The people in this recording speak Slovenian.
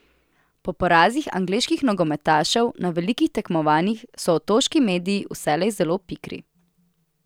Po porazih angleških nogometašev na velikih tekmovanjih so otoški mediji vselej zelo pikri.